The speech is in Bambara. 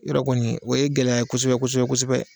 Yɔrɔ kɔni o ye gɛlɛya kosɛbɛ kosɛbɛ kosɛbɛ.